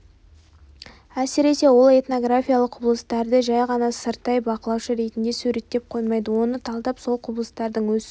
әсіресе ол этнографиялық құбылыстарды жай ғана сырттай бақылаушы ретінде суреттеп қоймайды оны талдап сол құбылыстардың өсуі